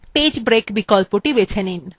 okত়ে click করুন